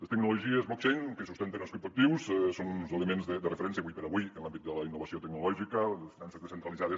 les tecnologies blockchain que sustenten els criptoactius són uns elements de referència ara com ara en l’àmbit de la innovació tecnològica de les finances descentralitzades